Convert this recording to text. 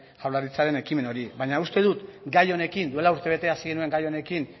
jaurlaritzaren ekimen hori baina uste dut duela urte bete hasi genuen gai honekin